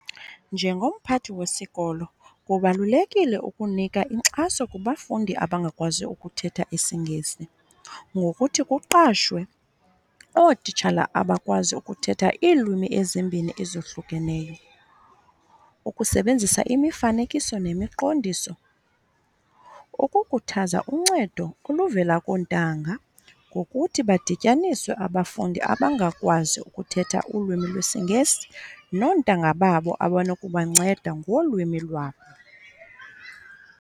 Njengomphathi wesikolo kubalulekile ukunika inkxaso kubafundi abangakwazi ukuthetha isiNgesi ngokuthi kuqashwe ootitshala abakwazi ukuthetha iilwimi ezimbini ezohlukeneyo. Ukusebenzisa imifanekiso nemiqondiso, ukukhuthaza uncedo oluvela koontanga ngokuthi badityaniswe abafundi abangakwazi ukuthetha ulwimi lwesiNgesi noontanga babo abanokubanceda ngolwimi lwabo.